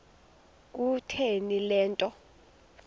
kutheni le nto